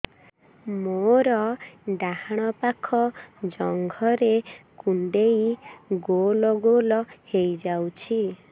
ମୋର ଡାହାଣ ପାଖ ଜଙ୍ଘରେ କୁଣ୍ଡେଇ ଗୋଲ ଗୋଲ ହେଇଯାଉଛି